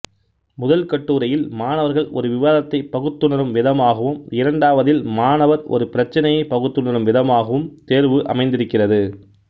முதல் கட்டுரையில் மாணவர்கள் ஒரு விவாதத்தை பகுத்துணரும் விதமாகவும் இரண்டாவதில் மாணவர் ஒரு பிரச்சினையை பகுத்துணரும் விதமாகவும் தேர்வு அமைந்திருக்கிறது